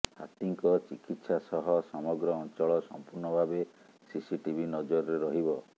ହାତୀଙ୍କ ଚିକିତ୍ସା ସହ ସମଗ୍ର ଅଞ୍ଚଳ ସମ୍ପୂର୍ଣ୍ଣ ଭାବେ ସିସିଟିଭି ନଜରରେ ରହିବ